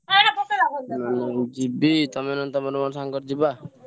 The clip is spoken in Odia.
ଯିବି ତମେ ନହେଲେ ତମର ମୋର ସାଙ୍ଗରେ ଯିବା?